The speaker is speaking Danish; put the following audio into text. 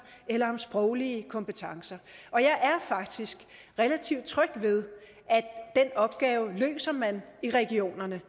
eller sproglige kompetencer og jeg er faktisk relativt tryg ved at den opgave løser man i regionerne